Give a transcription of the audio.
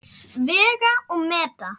Vega og meta.